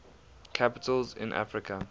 capitals in africa